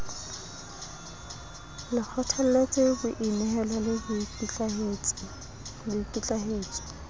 le kgothalletse boinehelo le boikitlaetso